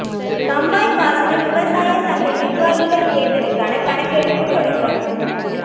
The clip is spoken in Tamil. கண்மாய் பாசன விவசாய சங்க நிா்வாகிகள் தோ்தலுக்கான கணக்கெடுப்புத் தொடக்கம்